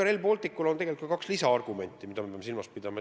Rail Balticu puhul on tegelikult ka kaks lisaargumenti, mida me peame silmas pidama.